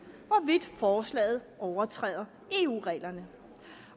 hvorvidt forslaget overtræder eu reglerne